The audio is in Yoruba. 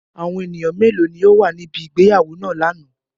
Awọn eniyan melo ni o wa nibi ìgbéyàwó naa lana?